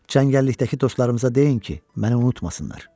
Çəngəllikdəki dostlarımıza deyin ki, məni unutmasınlar.